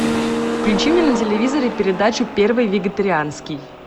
включи мне на телевизоре передачу первый вегетарианский